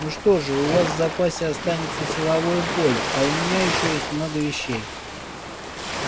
ну что же у вас в запасе останется силовое поле а у меня ещё есть много вещей